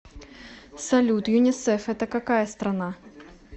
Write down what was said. салют юнисеф это какая страна